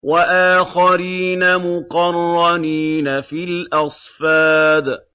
وَآخَرِينَ مُقَرَّنِينَ فِي الْأَصْفَادِ